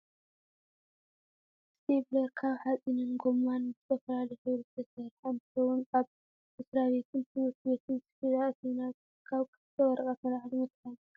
እስቴብሌር ካብ ሓፂንን ጎማን ብዝተፈላለዩ ሕብሪ ዝተሰረሓ እንትከውን ኣብ መስራቤትን ትምህርቲ ቤትን ስፒል ኣእቲና ካብ ክልተ ወረቀት ንላዕሊ መታሓሓዚ ከም ዝጠቅመና ትፈልጡ ዶ?